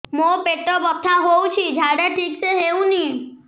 ମୋ ପେଟ ବଥା ହୋଉଛି ଝାଡା ଠିକ ସେ ହେଉନି